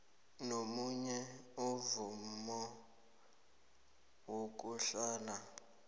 nomunye onemvumo yokuhlala